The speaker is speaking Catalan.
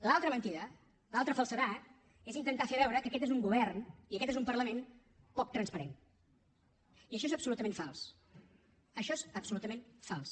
l’altra mentida l’altra falsedat és intentar fer veure que aquest és un govern i aquest és un parlament poc transparent i això és absolutament fals això és absolutament fals